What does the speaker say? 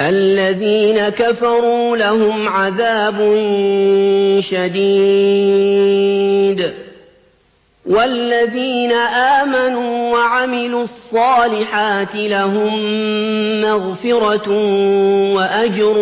الَّذِينَ كَفَرُوا لَهُمْ عَذَابٌ شَدِيدٌ ۖ وَالَّذِينَ آمَنُوا وَعَمِلُوا الصَّالِحَاتِ لَهُم مَّغْفِرَةٌ وَأَجْرٌ